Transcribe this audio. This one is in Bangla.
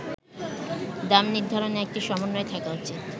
“দাম নির্ধারণে একটি সমন্বয় থাকা উচিত।